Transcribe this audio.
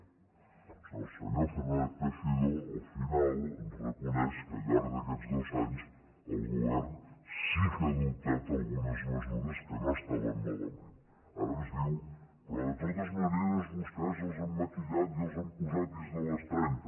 o sigui el senyor fernández teixidó al final ens reconeix que al llarg d’aquests dos anys el govern sí que ha adoptat algunes mesures que no estaven malament ara ens diu però de totes maneres vostès les han maquillat i les han posat dins de les trenta